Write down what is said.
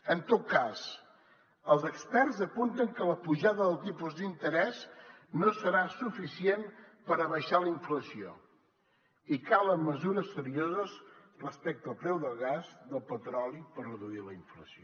en tot cas els experts apunten que la pujada dels tipus d’interès no serà suficient per abaixar la inflació i que calen mesures serioses respecte al preu del gas i del petroli per reduir la inflació